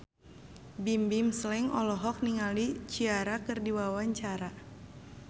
Bimbim Slank olohok ningali Ciara keur diwawancara